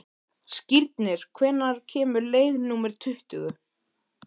Skírnir, hvenær kemur leið númer tuttugu?